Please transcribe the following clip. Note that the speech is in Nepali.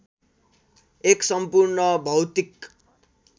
एक सम्पूर्ण भौतिक